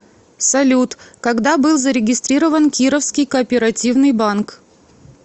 салют когда был зарегистрирован кировский кооперативный банк